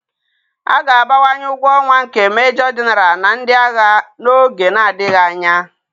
A ga-abawanye ụgwọ ọnwa nke Mejọ Genaral na ndị agha n'oge na-adịghị anya